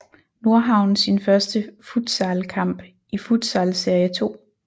Nordhavn sin første futsalkamp i Futsal Serie 2